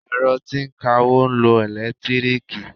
Ẹ̀rọ tí ń kawó ń lo ẹ̀lẹ́tíríìkì.